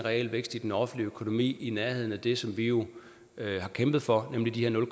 realvækst i den offentlige økonomi i nærheden af det som vi jo har kæmpet for nemlig de